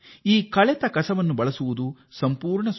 ಇದನ್ನು ಸುರಕ್ಷಿತವಾಗಿ ಸುಲಭವಾಗಿ ಬಹು ಉಪಯುಕ್ತವಾದ ಎನ್